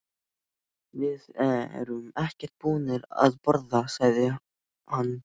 Við erum ekkert búnir að borða, sagði hann.